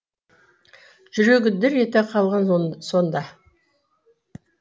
жүрегі дір ете қалған сонда